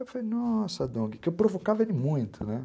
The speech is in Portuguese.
Eu falei, nossa, Dong, que eu provocava ele muito, né.